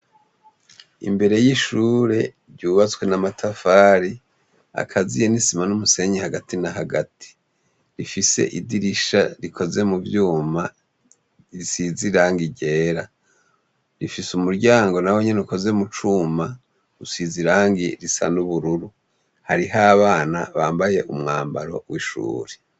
Imbere y'ishure ryubatswe namatafari akaziye nisima n'umusenyi hagati na hagati rifise idirisha rikoze mu vyuma risiza iranga irera rifise umuryango na we nyene ukoze mu cuma usiza irangi risan' ubururu harihawe bana bambaye umwambaro w'ishuri.